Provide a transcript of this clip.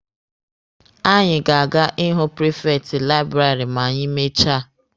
Anyị ga-aga ịhụ prifekti laịbụrarị ma anyị mechaa